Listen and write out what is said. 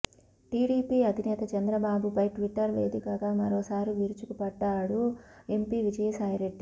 TDP అధినేత చంద్రబాబుపై Twitter వేదికగా మరోసారి విరుచుకుపడ్డారు ఎంపీ విజయసాయి రెడ్డి